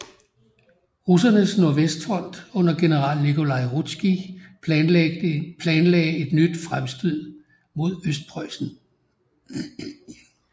Russernes nordvestfront under general Nikolaj Ruzskij planlagde et nyt fremstod mod Østpreussen